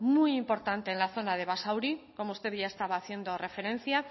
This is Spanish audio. muy importante en la zona de basauri como usted ya estaba haciendo referencia